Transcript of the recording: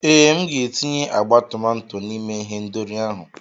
Ee, M ga-etinye agba tomato n'ime ihendori ahụ.